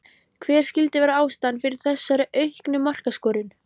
Hver skyldi vera ástæðan fyrir þessari auknu markaskorun?